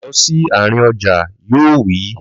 Lọ sí àárín ọjà! Yóò wí.